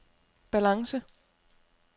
balance